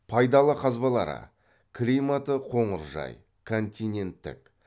пайдалы қазбалары климаты қоңыржай континенттік